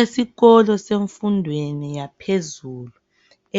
Esikolo semfundweni yaphezulu